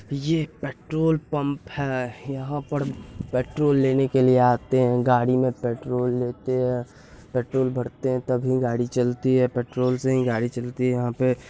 ये petrol pump है यहाँ पर पेट्रोल लेने के लिए आते है गाड़ी में पेट्रोल लेते है पेट्रोल भरते है तभी गाड़ी चलती है पेट्रोल से ही गाड़ी चलती है यहाँ पे----